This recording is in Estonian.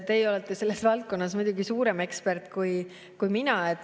Teie olete selles valdkonnas muidugi suurem ekspert kui mina.